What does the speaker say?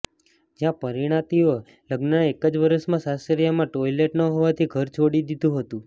જ્યાં પરિણીતાએ લગ્નના એક જ વર્ષમાં સાસરિયામાં ટોઈલેટ ન હોવાથી ઘર છોડી દીધું હતું